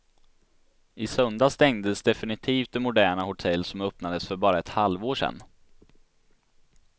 I söndags stängdes definitivt det moderna hotell som öppnades för bara ett halvår sedan.